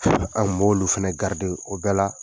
an b'olu fɛnɛ . O bɛɛ la